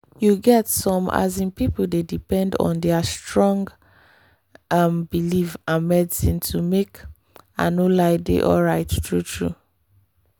you get some um people dey depend on their strong um belief and medicine to make i no lie dey alright true-true.